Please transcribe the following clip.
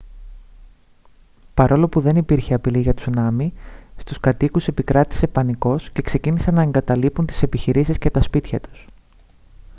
παρόλο που δεν υπήρχε απειλή για τσουνάμι στους κατοίκους επικράτησε πανικός και ξεκίνησαν να εγκαταλείπουν τις επιχειρήσεις και τα σπίτια τους